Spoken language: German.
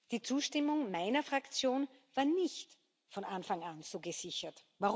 Die Zustimmung meiner Fraktion war nicht von Anfang an so gesichert.